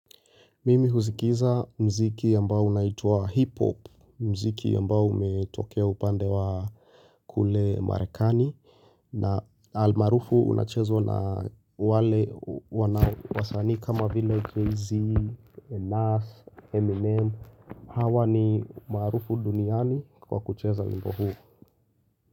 Mimi huskiza mziki ambao unaitwa hip-hop, mziki ambao umetokea upande wa kule marekani na almaarufu unachezwa na wale wasanii kama vile JayZ, Nas, Eminem Hawa ni maarufu duniani kwa kucheza wimbo huu.